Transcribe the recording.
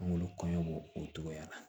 An k'olu kɔɲɔ b'o o togoya la